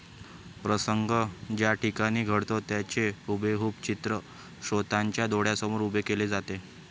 प्रसंग ज्याठिकाणी घडतो त्याचे हुबेहूब चित्र श्रोत्यांच्या डोळ्यासमोर उभे केले जाते